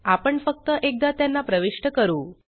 आपण फक्त एकदा त्यांना प्रविष्ट करू